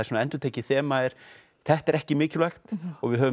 svona endurtekið þema er þetta er ekki mikilvægt og við höfum